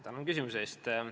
Tänan küsimuse eest!